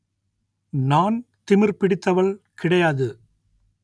நான் திமிர் பிடித்தவள் கிடையாது